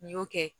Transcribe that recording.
N y'o kɛ